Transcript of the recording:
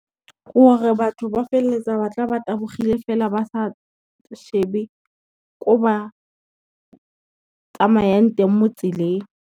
Gore batho ba feleletsa ba tla ba tabogile fela ba sa shebe ko ba tsamayang teng mo tseleng.